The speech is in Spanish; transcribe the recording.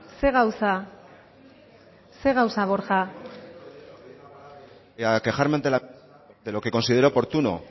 ze gauza ze gauza borja quejarme de lo que considero oportuno